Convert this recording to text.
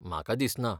म्हाका दिसना.